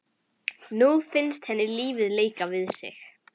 Nú finnst henni lífið leika við sig.